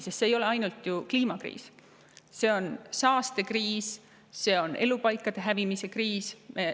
Sest see ei ole ainult kliimakriis, vaid see on ka saastekriis, elupaikade hävimise kriis.